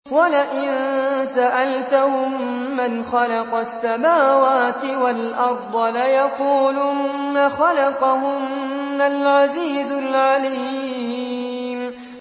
وَلَئِن سَأَلْتَهُم مَّنْ خَلَقَ السَّمَاوَاتِ وَالْأَرْضَ لَيَقُولُنَّ خَلَقَهُنَّ الْعَزِيزُ الْعَلِيمُ